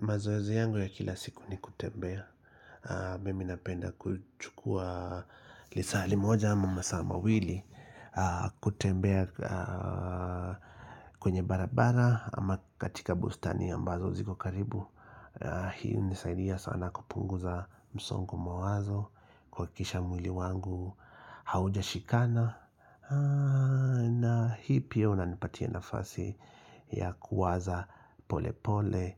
Mazoezi yangu ya kila siku ni kutembea Mimi napenda kuchukua lisali moja ama masaa mawili kutembea kwenye barabara ama katika bustani ambazo ziko karibu Hii hunisaidia sana kupunguza msongo wa mawazo kuhakikisha mwili wangu haujashikana na hii pia unanipatia nafasi ya kuwaza pole pole